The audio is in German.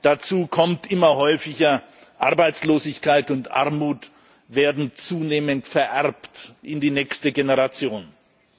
Dazu kommt immer häufiger Arbeitslosigkeit und Armut werden zunehmend in die nächste Generation vererbt.